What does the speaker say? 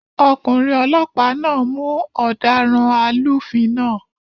Ọkùnrin olọ́pàá náà mú ọ̀daràn alúfin náà